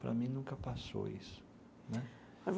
Para mim, nunca passou isso né.